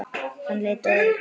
Hann leit á Örn.